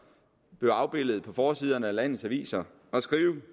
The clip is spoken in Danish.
blev afbildet på forsiderne af landets aviser at skrive